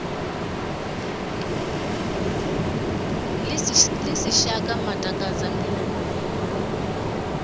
ḽi si shaka matakadza mbiluni